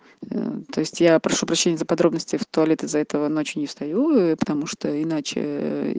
то есть я прошу прощения за подробности в туалет из-за этого ночью не встаю и потому что иначе